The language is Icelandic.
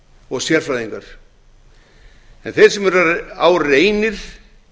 og sérfræðingar en þeir sem á reynir